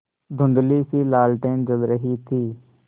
धुँधलीसी लालटेन जल रही थी